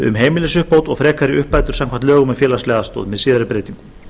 um heimilisuppbót og frekari uppbætur samkvæmt lögum um félagslega aðstoð með síðari breytingum